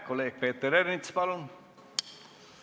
Kolleeg Peeter Ernits, palun!